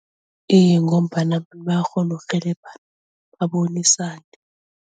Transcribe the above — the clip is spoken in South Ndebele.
Iye ngombana bayakghona ukurhelebhana babonisane.